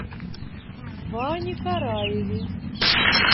ване караеве